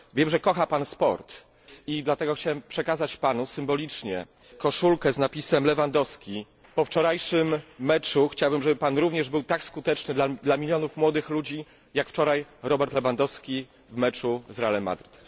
Wiem, że kocha Pan sport, i dlatego chciałem przekazać Panu symbolicznie koszulkę z napisem Lewandowski. Po wczorajszym meczu chciałbym, żeby Pan również był tak skuteczny dla milionów młodych ludzi, jak wczoraj Robert Lewandowski w meczu z Realem Madryt.